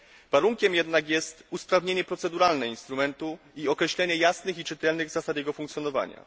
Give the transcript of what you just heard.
Warunkiem jednak jest usprawnienie proceduralne instrumentu i określenie jasnych i czytelnych zasad jego funkcjonowania.